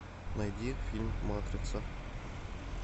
найди фильм матрица